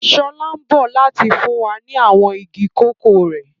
Sọlá ń bọ̀ láti fún wa ní àwọn igi kòkó rẹ̀